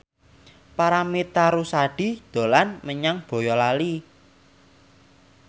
Paramitha Rusady dolan menyang Boyolali